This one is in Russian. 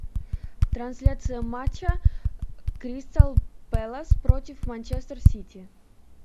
трансляция матча кристал пэлас против манчестер сити